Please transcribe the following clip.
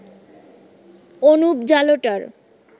Anup জালোটার